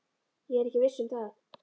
Ég er ekki viss um það.